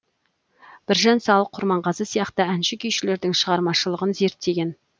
біржан сал құрманғазы сияқты әнші күйшілердің шығармашылығын зерттеген